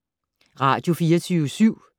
Radio24syv